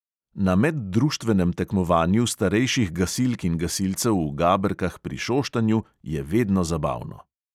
Na meddruštvenem tekmovanju starejših gasilk in gasilcev v gaberkah pri šoštanju je vedno zabavno.